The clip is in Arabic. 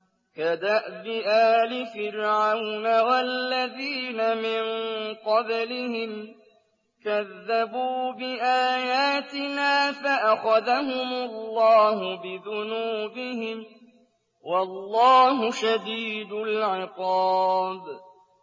كَدَأْبِ آلِ فِرْعَوْنَ وَالَّذِينَ مِن قَبْلِهِمْ ۚ كَذَّبُوا بِآيَاتِنَا فَأَخَذَهُمُ اللَّهُ بِذُنُوبِهِمْ ۗ وَاللَّهُ شَدِيدُ الْعِقَابِ